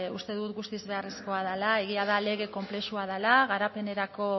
uste dut guztiz beharrezkoa dela egia da lege konplexua dela garapenerako